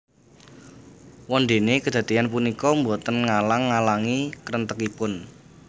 Wondéné kadadéyan punika boten ngalang ngalangi krentegipun